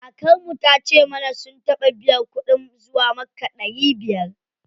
Kakar mu tace mana sun taɓa biyan kuɗin zuwa makka ɗari biyar.